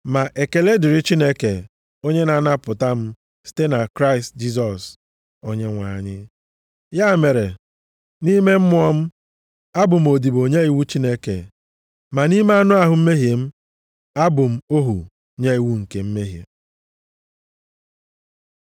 Ma ekele dịrị Chineke, onye na-anapụta m site na Kraịst Jisọs Onyenwe anyị! Ya mere, nʼime mmụọ m, abụ m odibo nye iwu Chineke, ma nʼime anụ ahụ mmehie m, abụ m ohu nye iwu nke mmehie.